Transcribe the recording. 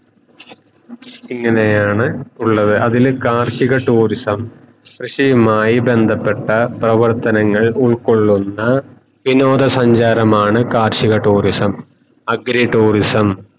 ഇങ്ങയാണ് ഉള്ളത് അതിൽ കാർഷിക tourism കൃഷിയുമായി കാര്യങ്ങൾ ബന്ധപ്പെട്ട പ്രവർത്തനങ്ങൾ ഉൾകൊള്ളുന്ന വിനോദ സഞ്ചാരമാണ് കാർഷിക tourism agri tourism